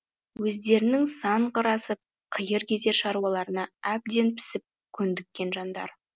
өздерінің сан қыр асып қиыр кезер шаруаларына әбден пісіп көндіккен жандар